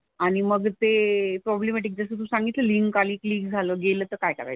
आणि मग ते प्रॉब्लेमॅटिक जसं तू सांगितलं लिंक आली क्लिक झालं. गेलं तर काय करायचं.